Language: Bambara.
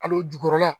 Al'o jukɔrɔla